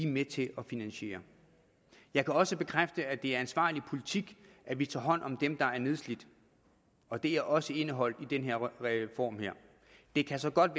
med til at finansiere jeg kan også bekræfte at det er ansvarlig politik at vi tager hånd om dem der er nedslidt og det er også indeholdt i den her reform det kan så godt